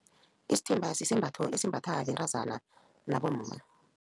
Isithimba sisembatho esimbatha bentazana nabomma.